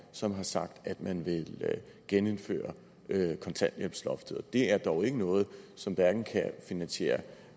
som har sagt at man vil genindføre kontanthjælpsloftet og det er dog ikke noget som hverken kan finansiere